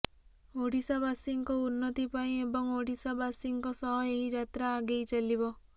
ଓଡିଶାବାସୀଙ୍କ ଉନ୍ନତି ପାଇଁ ଏବଂ ଓଡିଶାସୀଙ୍କ ସହ ଏହି ଯାତ୍ରା ଆଗେଇ ଚାଲିବ